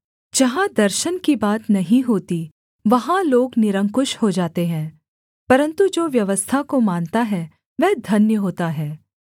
जहाँ दर्शन की बात नहीं होती वहाँ लोग निरंकुश हो जाते हैं परन्तु जो व्यवस्था को मानता है वह धन्य होता है